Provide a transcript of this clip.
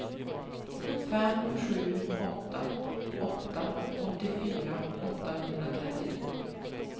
fem sju åtta åtta åttiofyra åttahundratrettiotvå